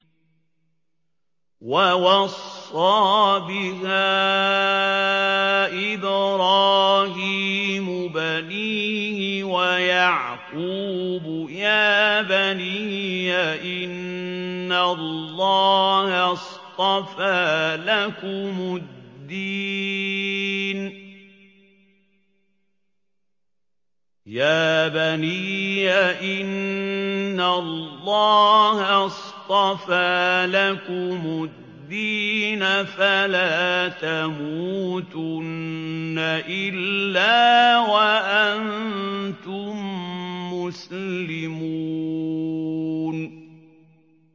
وَوَصَّىٰ بِهَا إِبْرَاهِيمُ بَنِيهِ وَيَعْقُوبُ يَا بَنِيَّ إِنَّ اللَّهَ اصْطَفَىٰ لَكُمُ الدِّينَ فَلَا تَمُوتُنَّ إِلَّا وَأَنتُم مُّسْلِمُونَ